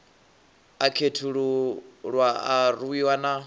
a khethululwa a rwiwa na